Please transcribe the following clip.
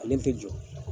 Ale tɛ jɔ